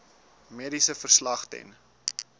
mediese verslag ten